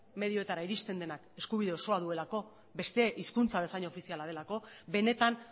medioetara iristen denak eskubide osoa duelako beste hizkuntza bezain ofiziala delako benetan